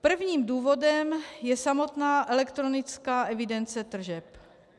Prvním důvodem je samotná elektronická evidence tržeb.